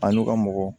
A n'u ka mɔgɔ